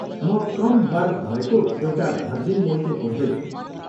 म कम बर्फ भएको एउटा भर्जिन मोइतो खोज्दैछु।